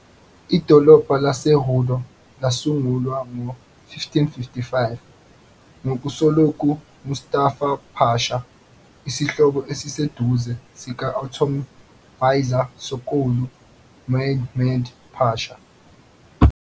Idolobha laseRudo lasungulwa ngo-1555 nguSokollu Mustafa Pasha, isihlobo esiseduze sika-Ottoman Vizier Sokollu Mehmed Pasha.